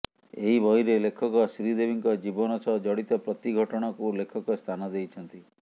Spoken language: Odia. ଏହି ବହିରେ ଲେଖକ ଶ୍ରୀଦେବୀଙ୍କ ଜୀବନ ସହ ଜଡ଼ିତ ପ୍ରତି ଘଟଣାକୁ ଲେଖକ ସ୍ଥାନ ଦେଇଛନ୍ତି